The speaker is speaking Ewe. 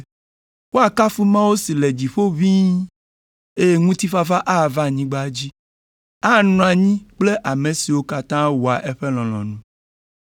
“Woakafu Mawu si le dziƒo ʋĩi, eye ŋutifafa ava anyigba dzi; anɔ anyi kple ame siwo katã wɔa eƒe lɔlɔ̃nu.”